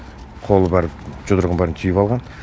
қолы бәрі жұдырығын бәрін түйіп алған